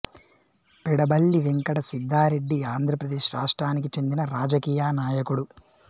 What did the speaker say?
పెడబల్లి వెంకట సిద్దారెడ్డి ఆంధ్రప్రదేశ్ రాష్ట్రానికి చెందిన రాజకీయ నాయకుడు